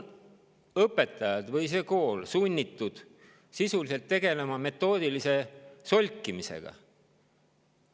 Õpetajad ja kool on sisuliselt sunnitud tegelema metoodilise solkimisega.